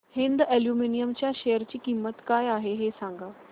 Hind aluminium च्या share ची किंमत काय आहे हे सांगा